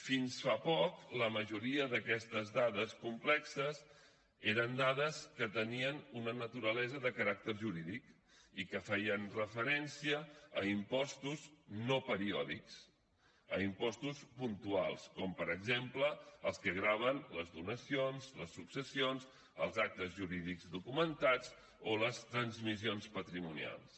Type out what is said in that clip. fins fa poc la majoria d’aquestes dades complexes eren dades que tenien una naturalesa de caràcter jurídic i que feien referència a impostos no periòdics a impostos puntuals com per exemple els que graven les donacions les successions els actes jurídics documentats o les transmissions patrimonials